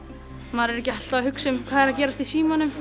maður er ekki alltaf að hugsa um hvað er að gerast í símanum